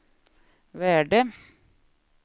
värde